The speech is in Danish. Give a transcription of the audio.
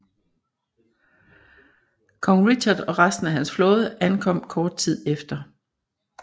Kong Richard og resten af hans flåde ankom kort tid efter